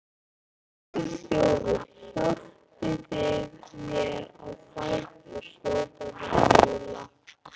Þjófur, þjófur, hjálpið þið mér á fætur, hrópar Fjóla.